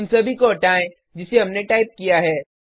उन सभी को हटाएँ जिसे हमने टाइप किया है